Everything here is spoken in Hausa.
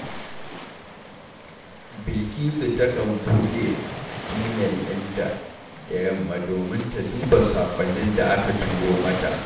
Bilkisu takan buɗe imel ɗinta da yamma domin ta duba saƙonnin da aka turo mata